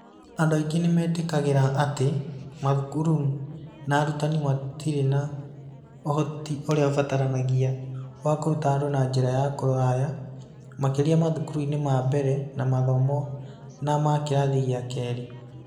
Andũ aingĩ nĩ metĩkagĩra atĩ mathukuru na arutani matirĩ na ũhoti ũrĩa ũbataranagia wa kũruta andũ na njĩra ya kũraya, makĩria mathukuru-inĩ ma mbere ma mathomo na ma kĩrathi gĩa kerĩ.